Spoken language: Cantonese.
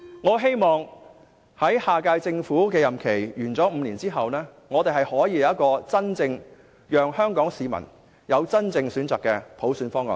我希望下屆政府在5年任期完結後，香港市民能有一個提供真正選擇的普選方案。